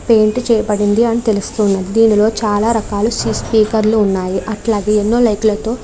Paint చే పడినది అని తెలుస్తున్నది. ఇందులో చాలా రకాల స్పీకర్స్ ఉన్నాయ్. అట్లాగే ఎన్నో లైట్ లతో --